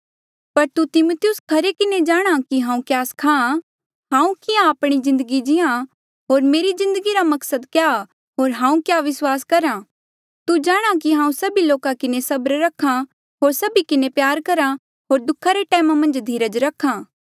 पर तू तिमिथियुस खरे किन्हें जाणहां कि हांऊँ क्या सखा हांऊँ किहां आपणी जिन्दगी जी आ होर मेरी जिन्दगी रा मकसद क्या होर हांऊँ क्या विस्वास करहा तू जाणहां कि हांऊँ सभी लोका किन्हें सबर रखा होर सभी किन्हें प्यार करहा होर दुखा रे टैमा मन्झ धीरज रखा